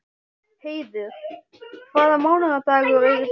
Heiður, hvaða mánaðardagur er í dag?